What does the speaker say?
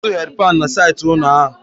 Enwere ọtụtụ hedi pani na saịtị ụlọ ahụ